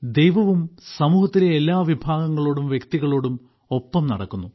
ദൈവവും സമൂഹത്തിലെ എല്ലാ വിഭാഗങ്ങളോടും വ്യക്തികളോടും ഒപ്പം നടക്കുന്നു